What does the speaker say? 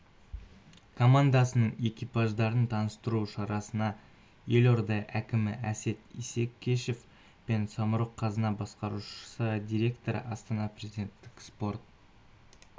командасының экипаждарын таныстыру шарасына елорда әкімі әсет исекешев пен самұрық-қазына басқарушы директоры астана президенттік спорт